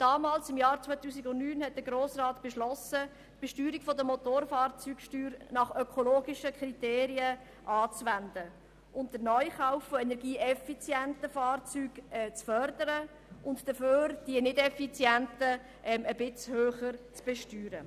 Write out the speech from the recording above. Der Grosse Rat hat im Jahr 2009 mit grossem Mehr beschlossen, für die Besteuerung der Motorfahrzeuge ökologische Kriterien anzuwenden, den Neukauf von energieeffizienten Fahrzeugen zu fördern und dafür die nicht-effizienten etwas höher zu besteuern.